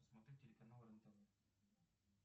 посмотри телеканал рен тв